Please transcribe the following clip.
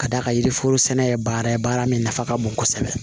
Ka d'a kan yiriforo sɛnɛ ye baara ye baara min nafa ka bon kosɛbɛ